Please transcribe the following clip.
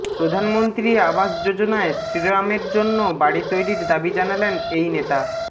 প্রধানমন্ত্রী আবাস যোজনায় শ্রীরামের জন্য বাড়ি তৈরির দাবি জানালেন এই নেতা